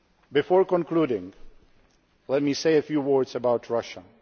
Before concluding, allow me to say a few words about Russia.